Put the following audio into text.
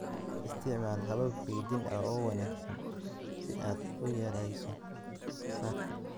Isticmaal habab kaydin oo wanaagsan si aad u yarayso khasaaraha.